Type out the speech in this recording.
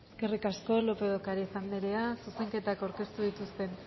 eskerrik asko lópez de ocariz andrea zuzenketak aurkeztu dituzten